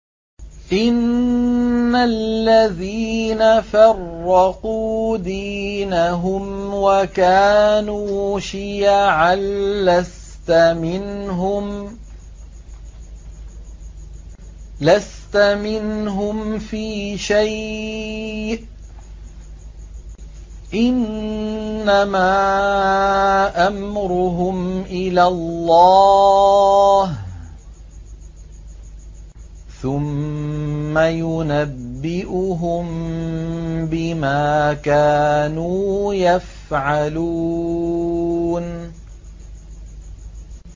إِنَّ الَّذِينَ فَرَّقُوا دِينَهُمْ وَكَانُوا شِيَعًا لَّسْتَ مِنْهُمْ فِي شَيْءٍ ۚ إِنَّمَا أَمْرُهُمْ إِلَى اللَّهِ ثُمَّ يُنَبِّئُهُم بِمَا كَانُوا يَفْعَلُونَ